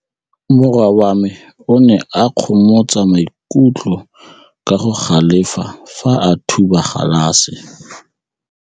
Morwa wa me o ne a kgomoga maikutlo ka go galefa fa a thuba galase.